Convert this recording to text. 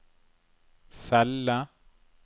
celle